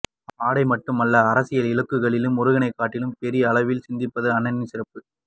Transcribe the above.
ஆடை மட்டுமல்ல அரசியல் இலக்குகளிலும் முருகனைக் காட்டிலும் பெரிய அளவில் சிந்திப்பதே அண்ணனின் சிறப்பு